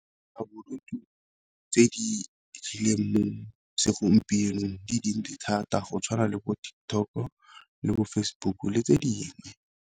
tse di mo segompienong di dintsi thata go tshwana le bo TikTok o le bo Facebook le tse dingwe.